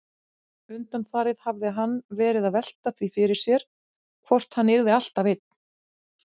Undanfarið hafði hann verið að velta því fyrir sér hvort hann yrði alltaf einn.